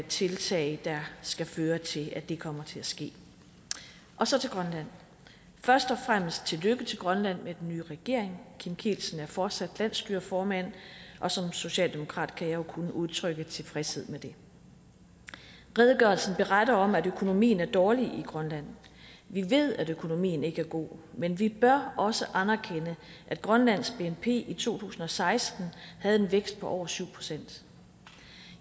tiltag der skal føre til at det kommer til at ske så til grønland først og fremmest tillykke til grønland med den nye regering kim kielsen er fortsat landsstyreformand og som socialdemokrat kan jeg jo kun udtrykke tilfredshed med det redegørelsen beretter om at økonomien er dårlig i grønland vi ved at økonomien ikke er god men vi bør også anerkende at grønlands bnp i to tusind og seksten havde en vækst på over syv procent